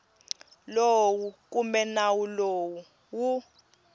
lowu kumbe nawu lowu wu